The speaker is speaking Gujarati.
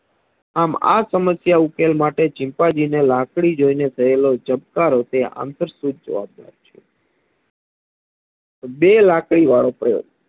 આમ આ સમસ્યા ઉકેલ માટે ચિમ્પાન્જીને લાકડી જોઈને થયેલો ચમકારો અંતરસતુત જવાબ દર છે બે લાકડી વાળો પ્રયોગ